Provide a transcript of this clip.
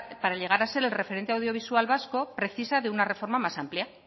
para llegar a ser el referente audiovisual vasco precisa de una reforma más amplia